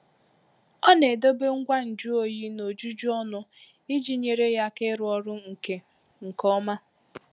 Ọ na-edobe ngwa nju oyi n'ojuju ọnụ iji nyere ya aka ịrụ ọrụ nke nke ọma.